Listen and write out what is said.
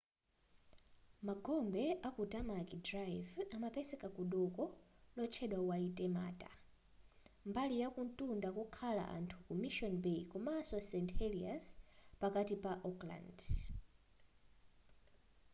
magombe aku tamaki drive amapezeka ku doko lotchedwa waitemata mbali yakumtunda kokhala anthu ku mission bay komanso st heliers pakati pa auckland